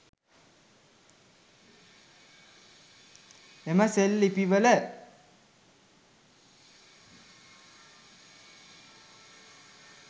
එම සෙල් ලිපිවල